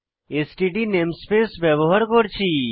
STD namespace ব্যবহার করেছি